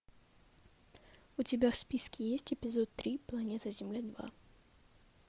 у тебя в списке есть эпизод три планета земля два